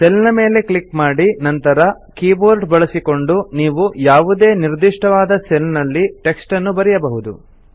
cell ನ ಮೇಲೆ click ಮಾಡಿ ನಂತರ ಕೀಬೋರ್ಡ್ ಉಪಯೋಗಿಸಿಕೊಂಡು ನೀವು ಯಾವುದೇ ನಿರ್ದಿಷ್ಟವಾದ ಸೆಲ್ ನಲ್ಲಿ ಟೆಕ್ಸ್ಟ್ ಅನ್ನು ಬರೆಯಬಹುದು